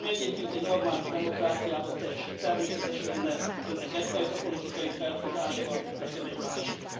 Ami egyébként egy normális demokráciában teljesen természetes lenne Önnek egyfajta politikai felfogása van, nekem egy másik.